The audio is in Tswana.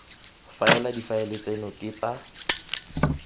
faela difaele tseno ke tsa